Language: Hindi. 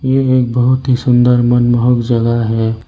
ये एक बहोत ही सुंदर मनमोहक जगह है।